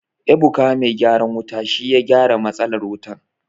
Ebuka mai gyaran wuta shi ya gyara matsalar wutan.